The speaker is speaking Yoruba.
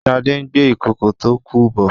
shade ngbé Ìkòkò tó kú bò.